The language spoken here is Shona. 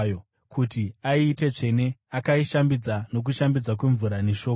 kuti aiite tsvene, akaishambidza nokushambidza kwemvura neshoko,